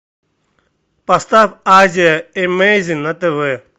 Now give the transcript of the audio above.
поставь азия эмейзин на тв